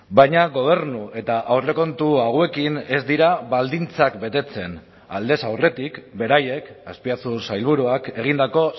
baina gobernu eta aurrekontu hauekin ez dira baldintzak betetzen aldez aurretik beraiek azpiazu sailburuak egindako